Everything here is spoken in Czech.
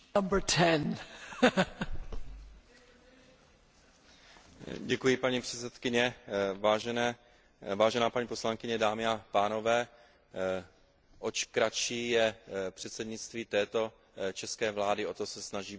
Vážená paní poslankyně, dámy a pánové, oč kratší je předsednictví této české vlády, o to se snaží být rychlejší, a to je možná ten důvod, proč se snažíme být takto rychlí a